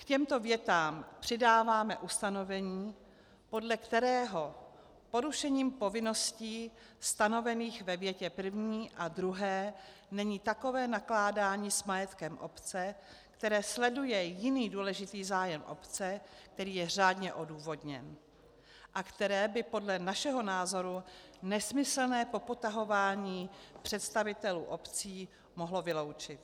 K těmto větám přidáváme ustanovení, podle kterého porušením povinností stanovených ve větě první a druhé není takové nakládání s majetkem obce, které sleduje jiný důležitý zájem obce, který je řádně odůvodněn, a které by podle našeho názoru nesmyslné popotahování představitelů obcí mohlo vyloučit.